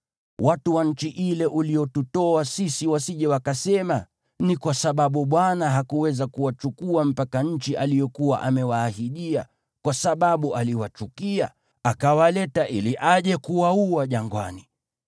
Watu wa nchi ile uliyotutoa sisi wasije wakasema, ‘Ni kwa sababu Bwana hakuweza kuwachukua mpaka nchi aliyokuwa amewaahidia, kwa sababu aliwachukia, akawaleta ili aje kuwaua jangwani.’